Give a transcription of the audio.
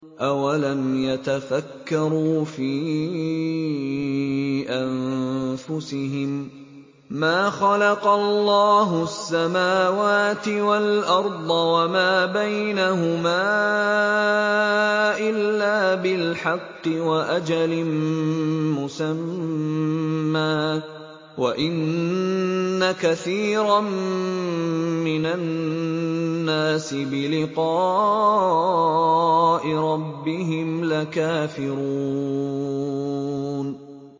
أَوَلَمْ يَتَفَكَّرُوا فِي أَنفُسِهِم ۗ مَّا خَلَقَ اللَّهُ السَّمَاوَاتِ وَالْأَرْضَ وَمَا بَيْنَهُمَا إِلَّا بِالْحَقِّ وَأَجَلٍ مُّسَمًّى ۗ وَإِنَّ كَثِيرًا مِّنَ النَّاسِ بِلِقَاءِ رَبِّهِمْ لَكَافِرُونَ